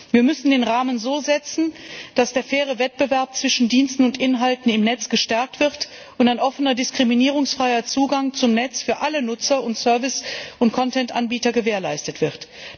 Wir müssen den Rahmen so setzen, dass der faire Wettbewerb zwischen Diensten und Inhalten im Netz gestärkt wird und ein offener, diskriminierungsfreier Zugang zum Netz für alle Nutzer und Service und Content Anbieter gewährleistet wird.